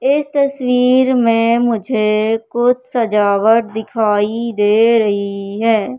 इस तस्वीर में मुझे कुछ सजावट दिखाई दे रही है।